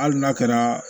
Hali n'a kɛra